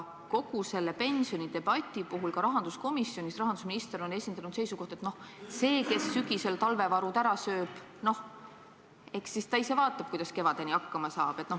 Kogu selle pensionidebati puhul on rahandusminister ka rahanduskomisjonis esindanud seisukohta, et kui keegi sügisel oma talvevarud ära sööb, eks ta siis ise vaatab, kuidas kevadeni hakkama saab.